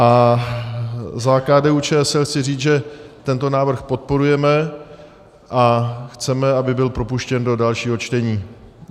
A za KDU-ČSL chci říct, že tento návrh podporujeme a chceme, aby byl propuštěn do dalšího čtení.